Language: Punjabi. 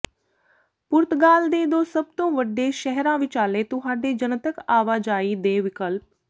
ਪੁਰਤਗਾਲ ਦੇ ਦੋ ਸਭ ਤੋਂ ਵੱਡੇ ਸ਼ਹਿਰਾਂ ਵਿਚਾਲੇ ਤੁਹਾਡੇ ਜਨਤਕ ਆਵਾਜਾਈ ਦੇ ਵਿਕਲਪ